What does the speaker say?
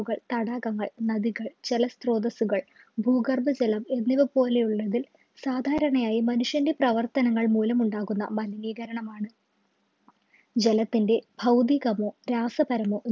തടാകങ്ങൾ നദികൾ ജല സ്ത്രോതസുകൾ ഭൂഗർഭജലം എന്നിവ പോലെ ഉള്ളതിൽ സാധാരണയായി മനുഷ്യന്റെ പ്രവർത്തനങ്ങൾ മൂലം ഉണ്ടാകുന്ന മലിനീകരണമാണ് ജലത്തിൻ്റെ ഭൗതികമോ രാസപരമോ